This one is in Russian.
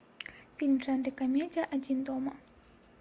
фильм в жанре комедия один дома